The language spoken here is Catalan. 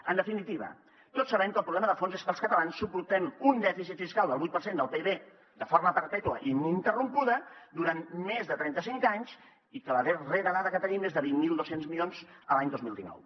en definitiva tots sabem que el problema de fons és que els catalans suportem un dèficit fiscal del vuit per cent del pib de forma perpètua i ininterrompuda durant més de trenta cinc anys i la darrera dada que tenim és de vint mil dos cents milions l’any dos mil dinou